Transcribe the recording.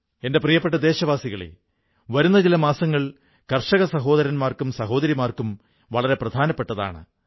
എന്റെ പ്രിയപ്പെട്ട ദേശവാസികളേ വരുന്ന ചില മാസങ്ങൾ കർഷക സഹോദരന്മാർക്കും സഹോദരിമാർക്കും വളരെ പ്രധാനപ്പെട്ടതാണ്